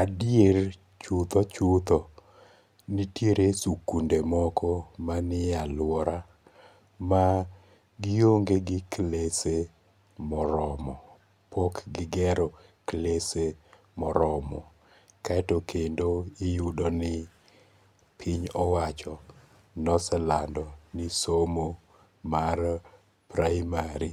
Adier chutho chutho nitiere sikunde moko manie aluora ma gionge gi klese moromo, pok gigero klese moromo, kaeto kendo iyudoni piny owacho noselando ni somo mar primary